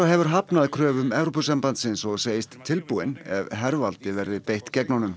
hefur hafnað kröfum Evrópusambandsins og segist tilbúinn ef hervaldi verði beitt gegn honum